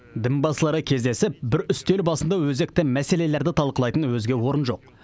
дінбасылары кездесіп бір үстел басында өзекті мәселелерді талқылайтын өзге орын жоқ